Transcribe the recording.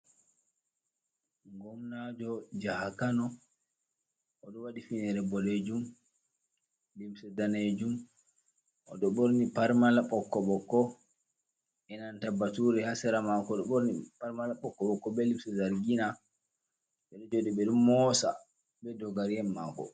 Gomnajo jaha Kano, oɗo waɗi finere boɗejum, limse daneejum, oɗo ɓorni parmala ɓokko ɓokko enanta bature ha sera maako ɗo ɓorni parmala ɓokko ɓokko be limse zargina, ɓe ɗo jooɗi ɓe ɗo moosa be dogari en maako.